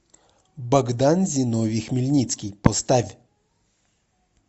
богдан зиновий хмельницкий поставь